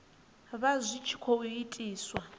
vha zwi tshi khou itiswa